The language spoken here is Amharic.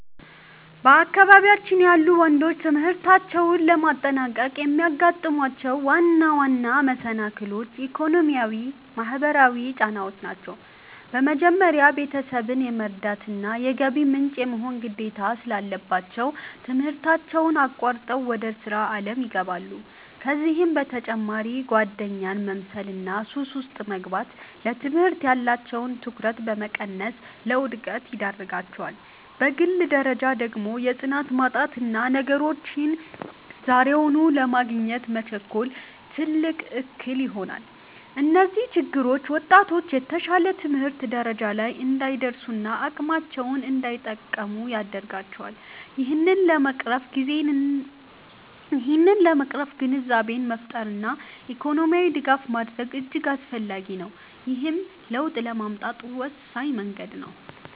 በአካባቢያችን ያሉ ወንዶች ትምህርታቸውን ለማጠናቀቅ የሚያጋጥሟቸው ዋና ዋና መሰናክሎች፣ ኢኮኖሚያዊና ማህበራዊ ጫናዎች ናቸው። በመጀመሪያ፣ ቤተሰብን የመርዳትና የገቢ ምንጭ የመሆን ግዴታ ስላለባቸው፣ ትምህርታቸውን አቋርጠው ወደ ሥራ ዓለም ይገባሉ። ከዚህም በተጨማሪ ጓደኛን መምሰልና ሱስ ውስጥ መግባት፣ ለትምህርት ያላቸውን ትኩረት በመቀነስ ለውድቀት ይዳርጋቸዋል። በግል ደረጃ ደግሞ የጽናት ማጣትና ነገሮችን ዛሬውኑ ለማግኘት መቸኮል፣ ትልቅ እክል ይሆናል። እነዚህ ችግሮች ወጣቶች የተሻለ የትምህርት ደረጃ ላይ እንዳይደርሱና አቅማቸውን እንዳይጠቀሙ ያደርጋቸዋል። ይህንን ለመቅረፍ ግንዛቤን መፍጠርና የኢኮኖሚ ድጋፍ ማድረግ እጅግ አስፈላጊ ነው፤ ይህም ለውጥ ለማምጣት ወሳኝ መንገድ ነው።